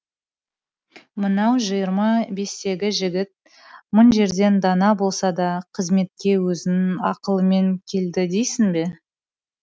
мынау жиырма бестегі жігіт мың жерден дана болса да қызметке өзінің ақылымен келді дейсің бе